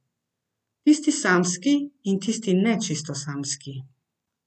Tisti samski in tisti ne čisto samski.